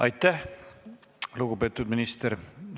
Aitäh, lugupeetud minister!